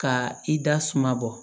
Ka i da suma bɔ